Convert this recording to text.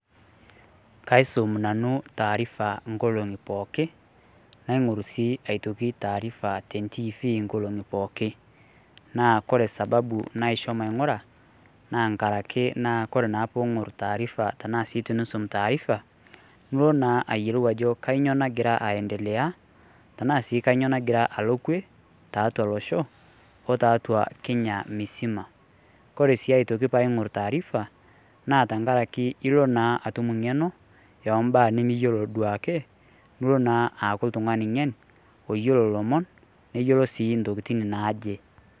kaisum nanu taarifa inkolong'i pooki naing'orr sii aitoki taarifa tentifi nkolong'i pooki. naa kore sababu naisho maing'ura naa nkarake kore naa pung'orr taarifa tenaa sii tunusum taarifa nulo naa ayiolou ajo kainyio nagira aendeleya tenaa sii kanyio nagira alo kwe tatua losho otatua kenya misima kore sii aitoki paing'orr taarifa naa tankarake ilo naa atum ing'eno eombaa nimiyiolo duo ake nulo naa aaku iltung'ani ng'en oyiolo ilomon neyiiolo sii intokitin naaje.